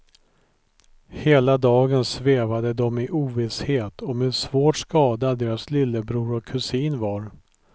Hela dagen svävade de i ovisshet om hur svårt skadad deras lillebror och kusin var.